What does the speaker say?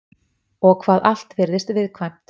Og hvað allt virðist viðkvæmt.